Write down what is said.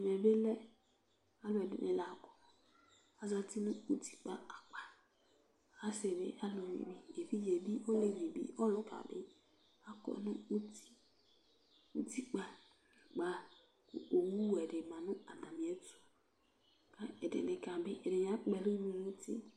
ɛmɛ bi lɛ alo ɛdini la azati no utikpa akpa asi bi aluvi bi evidze bi olevi bi ɔluka bi akɔ no uti utikpa akpa kò owu wɛ di ma n'atami ɛto k'ɛdini ka bi ɛdini akpɔ ɛlu do n'uti